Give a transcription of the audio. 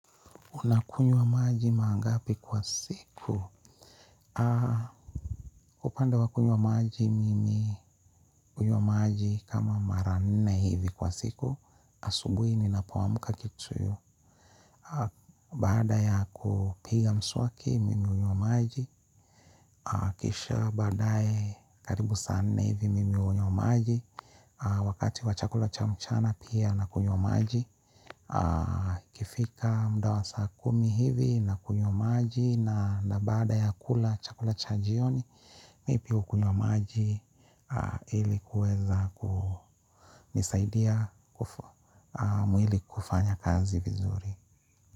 Unakunywa maji mara ngapi kwa siku? Kwa upande wa kunywa maji mimi hunywa maji kama mara nne hivi kwa siku. Asubui ninapoamka kitu ya. Baada ya kupiga mswaki mimi hunywa maji. Kisha baadaye karibu saa nne hivi mimi hunywa maji. Wakati wa chakula cha mchana pia nakunywa maji. Ikifika mda wa saa kumi hivi nakunywa maji. Na baada ya kula chakula cha jioni mimi pia hukunywa maji ili kuweza kunisaidia mwili kufanya kazi vizuri.